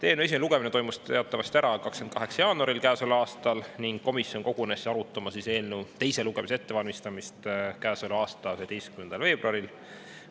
Eelnõu esimene lugemine toimus teatavasti käesoleva aasta 28. jaanuaril ning komisjon kogunes arutama eelnõu teise lugemise ettevalmistamist 11. veebruaril.